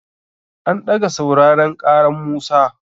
An ɗaga sauraren ƙaran Musa.